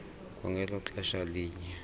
kwangelo xesha linye